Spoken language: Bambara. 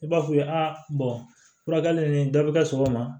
I b'a f'u ye aa furakɛli ni dɔ bi kɛ sɔgɔma